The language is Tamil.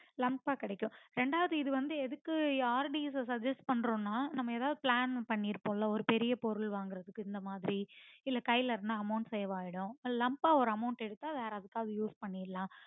lump ஆ கிடைக்கும் ரெண்டாவது இது வந்து எதுக்கு RD ய suggest பண்றோம்னா நம்ப ஏதாவது plan பண்ணிருப்போமில்ல ஒரு பெரிய பொருள் வாங்கறதுக்கு இந்தமாதிரி இல்ல கைல இருந்த amount செலவாயிடும் lump ஆ ஒரு amount எடுத்த அது வேற எதுக்காவது use பண்ணிரலாம்